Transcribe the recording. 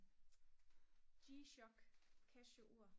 g-schock casio ur